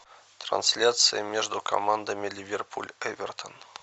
трансляция между командами ливерпуль эвертон